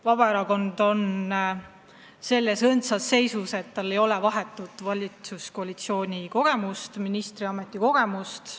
Vabaerakond on selles mõttes õndsas seisus, et tal ei ole vahetut valitsuskoalitsiooni kogemust ega ka ministriameti kogemust.